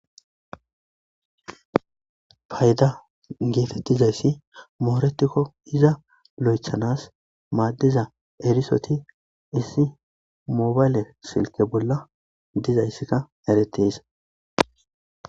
fayda geefettizayssi mooretikko iza lo7echanas maaddiza erisoti issi moobale silke bolla dizayssika erettees